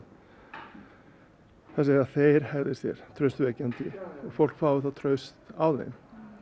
segja að þeir hegði sér traustvekjandi og fólk fái þá traust á þeim